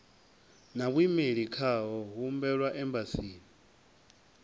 na vhuimeli khao humbelwa embasini